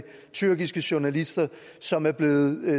tyrkiske journalister som er blevet